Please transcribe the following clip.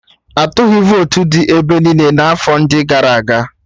Atụghị votu dị ebe niile n'afọ ndị gara aga